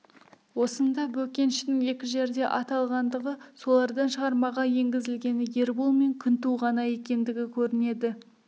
осында бөкеншінің екі жерде аталғандығы солардан шығармаға енгізілгені ербол мен күнту ғана екендігі көрінеді